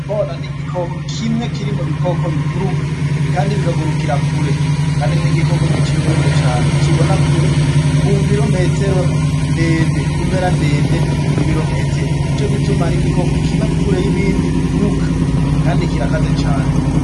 Inkona ni igikoko kimwe kiri mu bikoko biguruka kandi bikagurukira kure, kandi ni igikoko giciye ubwenge cane kibona kure ku mpera ndende y'ibirometero. Ni ico gituma ari igikoko kiba kure y'ibindi biguruka kandi kirakaze cane.